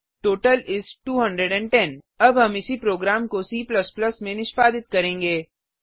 total इस 210 अब हम इसी प्रोग्राम को C में निष्पादित करेंगे